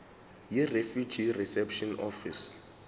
yirefugee reception office